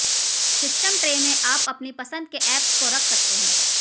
system tray में आप अपनी पसंद के ऐप्स को रख सकते हैं